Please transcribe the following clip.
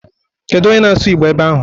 Kedu onye na-asụ Igbo ebe ahụ?